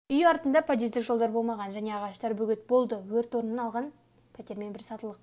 үй артында подъездік жолдар болмаған және ағаштар бөгет болды өрт орын алған пәтермен бір сатылық